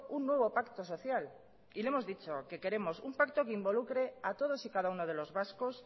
un nuevo pacto social y le hemos dicho que queremos un pacto que involucre a todos y cada uno de los vascos